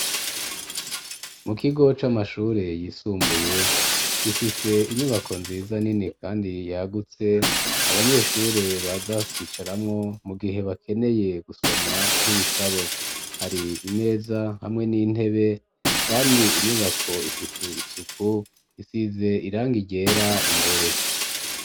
Mu kigo c'amashure yisumbuye ,gifise inyubako nziza nini kandi yagutse ,abanyeshure baza kwicaramwo mu gihe bakeneye gusoma nk'ibitabo ,hari imeza hamwe n'intebe ,kandi inyubako ifise isuku ,isize irangi ryera imbere.